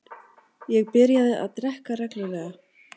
Ég byrjaði að drekka reglulega.